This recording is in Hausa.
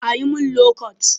A yi min lokot